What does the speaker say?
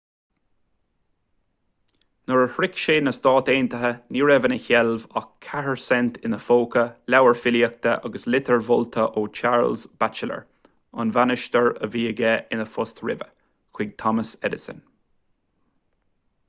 nuair a shroich sé na stáit aontaithe ní raibh ina sheilbh ach 4 cent ina phóca leabhar filíochta agus litir mholta ó charles batchelor an bainisteoir a bhí aige ina phost roimhe chuig thomas edison